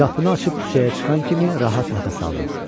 Qapını açıb küçəyə çıxan kimi rahat nəfəs aldım.